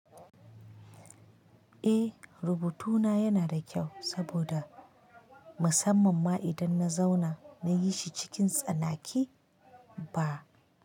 Eh, rubutuna yana da kyau saboda musamman ma idan na zauna na yi shi cikin tsanaki ba.